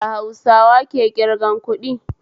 Ya Hausawa ke kirgan kuɗi?